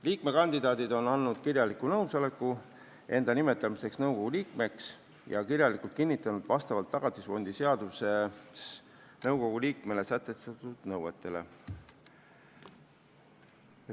Liikmekandidaadid on andnud kirjaliku nõusoleku enda nimetamiseks nõukogu liikmeks ja kirjalikult kinnitanud vastavust Tagatisfondi seaduses nõukogu liikmele sätestatud nõuetele.